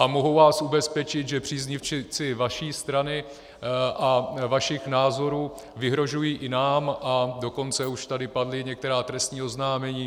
A mohu vás ubezpečit, že příznivci vaší strany a vašich názorů vyhrožují i nám, a dokonce už tady padla některá trestní oznámení.